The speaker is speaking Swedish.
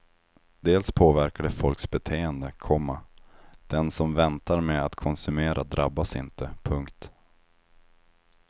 Dels påverkar det folks beteende, komma den som väntar med att konsumera drabbas inte. punkt